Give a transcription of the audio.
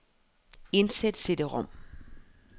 Indsæt cd-rom.